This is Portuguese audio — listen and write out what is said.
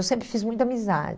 Eu sempre fiz muita